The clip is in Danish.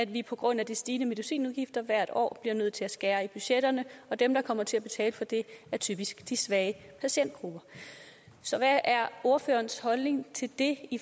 vi på grund af de stigende medicinudgifter hvert år bliver nødt til at skære i budgetterne og dem der kommer til at betale for det er typisk de svage patientgrupper så hvad er ordførerens holdning til det